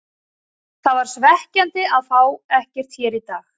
Það var svekkjandi að fá ekkert hér í dag.